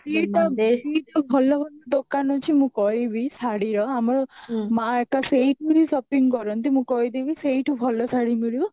ଦିଟା ଭଲ ଭଲ ଦୋକାନ ଅଛି ମୁଁ କହିବିଶାଢୀର ଆମର ମା ତ ସେଇଠୁ ହିଁ shopping କରନ୍ତି ମୁଁ କହିଦେବି ସେଇଠୁ ଭଲ ଶାଢୀ ମିଳିବ